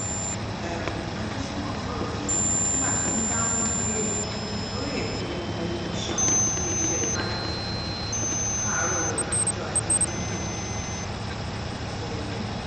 um adésínà sọ̀rọ̀ yìí nígbà tó ń dáhùn ìbéèrè lórí ètò tẹlifíṣọ̀n iléeṣẹ́ channels tv láàárọ̀ ọjọ́ ajé monde um ọ̀sẹ̀ yìí